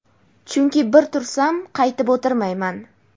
chunki bir tursam qaytib o‘tirmayman..